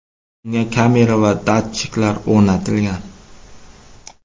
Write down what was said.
Unga kamera va datchiklar o‘rnatilgan.